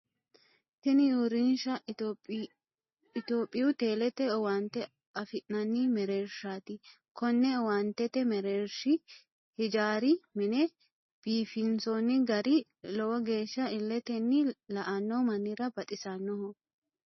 Tinni uurinsha itophiyu telete owaante afi'nanni mereershaati. Konne owaantete mareeshi hijaara mine biifinsoonni garari lowo geesha illetenni la'ano mannira baxisanoho.